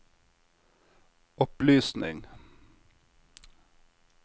opplysning